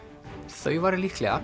þau væru líklega